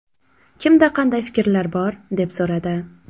Kimda qanday fikrlar bor?”, deb so‘radi.